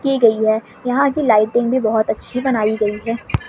की गई है यहां की लाइटिंग भी बहोत अच्छी बनाई गई है।--